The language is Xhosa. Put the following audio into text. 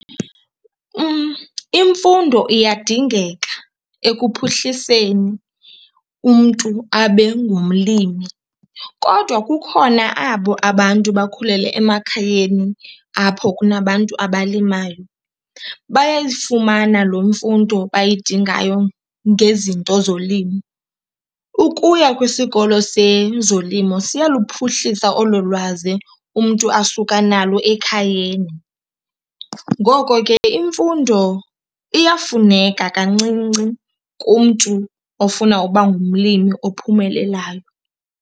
Imfundo iyadingeka ekuphuhliseni umntu abe ngumlimi kodwa kukhona abo abantu bakhulele emakhayeni apho kunabantu abalimayo, bayayifumana loo mfundo bayidingayo ngezinto zolimo. Ukuya kwisikolo sezolimo siyaluphuhlisa olo lwazi umntu asuka nalo ekhayeni. Ngoko ke imfundo iyafuneka kancinci kumntu ofuna uba ngumlimi ophumelelayo.